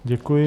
Děkuji.